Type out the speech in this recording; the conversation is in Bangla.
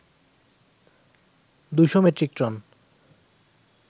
২শ মেট্রিক টন